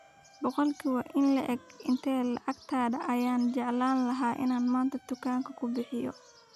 Boqolkii intee le'eg ee lacagtayda ayaan jeclaan lahaa inaan maanta dukaamada ku bixiyo?